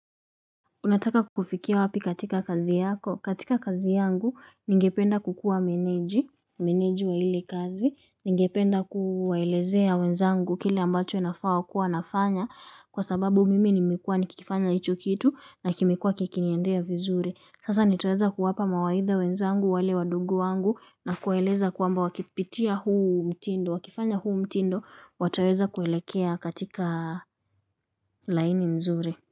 Unataka kufikia wapi katika kazi yako. Katika kazi yangu, ningependa kukuwa meneji, meneji wa hili kazi, ningependa kuwaelezea wenzangu kile ambacho inafaa wakuwe wanafanya kwa sababu mimi nimekuwa nikikifanya hicho kitu na kimekuwa kikiniendea vizuri. Sasa nitaweza kuwapa mawaidha wenzangu wale wadogu wangu na kuwaeleza kwamba wakipitia huu mtindo, wakifanya huu mtindo, wataweza kuelekea katika laini mzuri.